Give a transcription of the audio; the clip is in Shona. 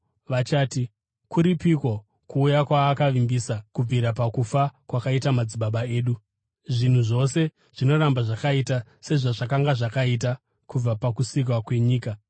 Vachati, “Kuripiko ‘kuuya’ kwaakavimbisa? Kubvira pakufa kwakaita madzibaba edu, zvinhu zvose zvinoramba zvakaita sezvazvakanga zvakaita kubva pakusikwa kwenyika.”